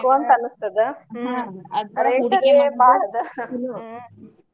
ಬೇಕು ಅನಸ್ತದ ಹ್ಮ rate ಅರೆ ಬಾಳ ಅದ ಹ್ಮ.